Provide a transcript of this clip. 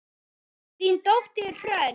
Þín dóttir, Hrönn.